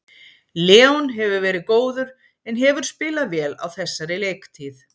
Leon hefur verið góður en hefur spilað vel á þessari leiktíð.